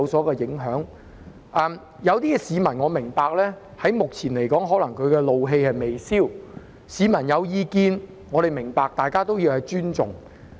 我明白有些市民可能至今仍然怒氣未消，市民如有意見，我明白，大家亦須尊重。